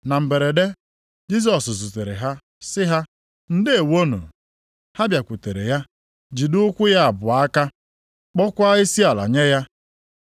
Na mberede, Jisọs zutere ha sị ha, “Ndeewonụ!” Ha bịakwutere ya, jide ụkwụ ya abụọ aka, kpọọkwa isiala nye ya.